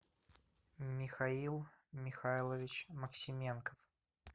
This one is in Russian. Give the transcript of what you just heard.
михаил михайлович максименко